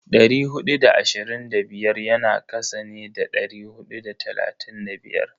Dari hudu da ashirin da biyar yana kasa ne da dari hudu da talatin da biyar.